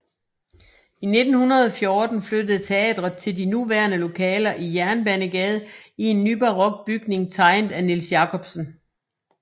I 1914 flyttede teatret til de nuværende lokaler i Jernbanegade i en nybarok bygning tegnet af Niels Jacobsen